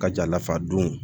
Ka jalafa don